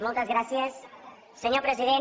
moltes gràcies senyor president